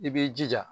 I b'i jija